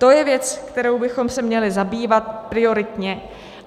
To je věc, kterou bychom se měli zabývat prioritně.